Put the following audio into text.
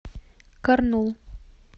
карнул